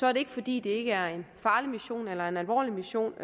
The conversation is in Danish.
er det ikke fordi det ikke er en farlig mission eller en alvorlig mission